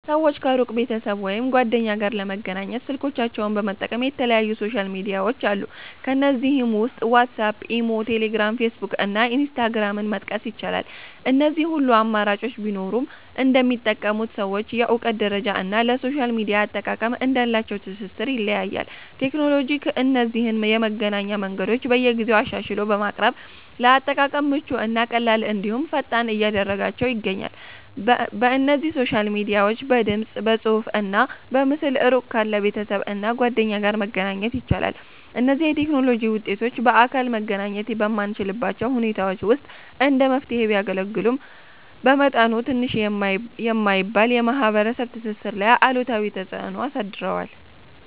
ሰወች ከሩቅ ቤተሰብ ወይም ጓደኛ ጋር ለመገናኘት ስልኮቻቸውን በመጠቀም የተለያዩ ሶሻል ሚድያዎች አሉ። ከነዚህም ውስጥ ዋትስአፕ፣ ኢሞ፣ ቴሌግራም፣ ፌስቡክ እና ኢንስታግራምን መጥቀስ ይቻላል። እነዚህ ሁሉ አማራጮች ቢኖሩም እንደሚጠቀሙት ሰዎች የእውቀት ደረጃ እና ለሶሻል ሚድያ አጠቃቀም እንዳላቸው ትስስር ይለያያል። ቴክኖሎጂ እነዚህን የመገናኛ መንገዶች በየጊዜው አሻሽሎ በማቅረብ ለአጠቃቀም ምቹ እና ቀላል እንድሁም ፈጣን እያደረጋችው ይገኛል። በእነዚህ ሶሻል ሚድያዎች በድምፅ፣ በፅሁፍ እና በምስል እሩቅ ካለ ቤተሰብ እና ጓደኛ ጋር መገናኛ ይቻላል። እነዚህ የቴክኖሎጂ ውጤቶች በአካል መገናኘት በማንችልባቸው ሁኔታዎች ውስጥ እንደ መፍትሔ ቢያገለግሉም፤ መጠኑ ትንሽ የማይባል የማህበረሰብ ትስስር ላይ አሉታዊ ተፅእኖ አሳድረዋል።